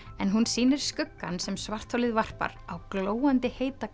en hún sýnir skuggann sem svartholið varpar á glóandi heita